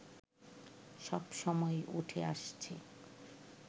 সবসময়ই উঠে আসছে